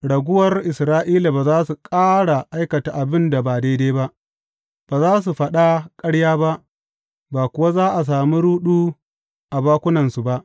Raguwar Isra’ila ba za su ƙara aikata abin da ba daidai ba, ba za su faɗa ƙarya ba, ba kuwa za a sami ruɗu a bakunansu ba.